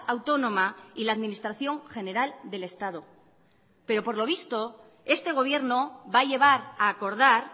autónoma y la administración general del estado pero por lo visto este gobierno va a llevar a acordar